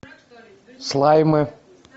слаймы